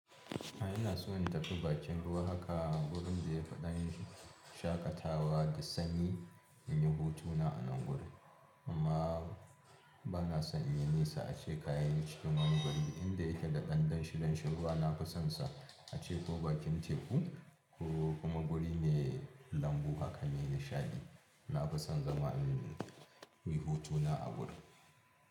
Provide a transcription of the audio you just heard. A ina so in tafi bakin ruwa haka, gurin da ya fi ɗan shaƙatawa da sanyi in yi hutu na a nan guri. Amma ba na son yin nesa ace kayan cikin wani guri. Inda yake da ɗan danshi danshin ruwa na fi son sa a ce ko bakin teku ko kuma guri mai lambu haka mai nishaɗi. Na fi son zama in yi hutu na a guri.